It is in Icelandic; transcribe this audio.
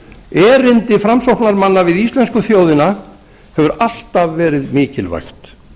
erindi framsóknarmanna við íslensku þjóðina hefur alltaf verið mikilvægt